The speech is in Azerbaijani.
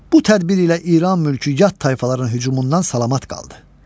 Bu tədbir ilə İran mülkü yat tayfaların hücumundan salamat qaldı.